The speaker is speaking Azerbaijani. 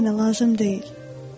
O daha mənə lazım deyil.”